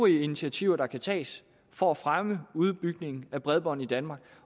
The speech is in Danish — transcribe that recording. initiativer der kan tages for at fremme udbygningen af bredbånd i danmark